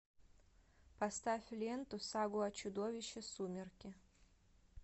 поставь ленту сагу о чудовище сумерки